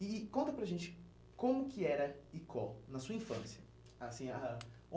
E e conta para a gente como que era Icó, na sua infância. Assim a a